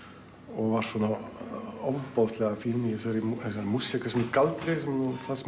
var svona ofboðslega fín í þessari músík þessum galdri það sem